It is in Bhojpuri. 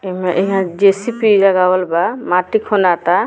एहमें एहां जे.सी.पी. लगावल बा माटी खोनाता।